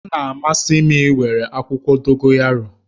Ọ na-amasị m iwere akwụkwọ Dogoyaro